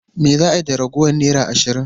Me za a yi da ragowar naira ashirin?